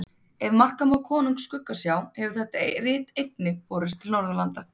Ef marka má Konungs skuggsjá hefur þetta rit einnig borist til Norðurlanda.